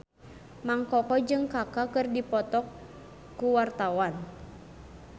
Mang Koko jeung Kaka keur dipoto ku wartawan